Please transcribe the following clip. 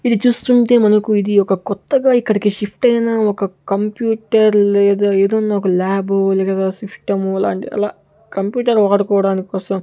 ఇది చూస్తుంటే మనకు ఇది ఒక కొత్తగా ఇక్కడికి షిఫ్ట్ అయినా ఒక కంప్యూటర్ లేదా ఏదన్నా ఒక లాబు లేద ఒక సిస్టమ్ లాంటి అలా కంప్యూటర్ వాడుకోవడానికి కోసం.